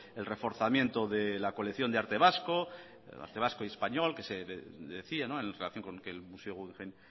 el reforzamiento de la colección de arte vasco y español que se decía en relación con que el museo guggenheim